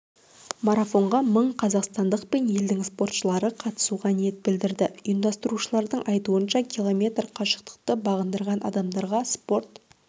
марафонға мың қазақстандық пен елдің спортшылары қатысуға ниет білдірді ұйымдастырушылардың айтуынша км қашықтықты бағындырған адамдарға спорт